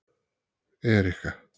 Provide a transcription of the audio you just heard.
Erika